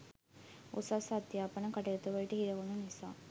උසස් අධ්‍යාපන කටයුතු වලට හිරවුණු නිසා